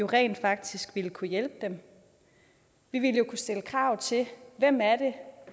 rent faktisk ville kunne hjælpe dem vi ville jo kunne stille krav til hvem